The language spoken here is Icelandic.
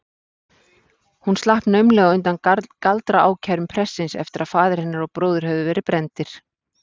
Hún slapp naumlega undan galdraákærum prestsins eftir að faðir hennar og bróðir höfðu verið brenndir.